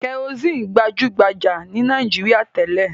Kẹrosíínì gbajú-gbajà ní Nàìjíríà tẹ́lẹ̀.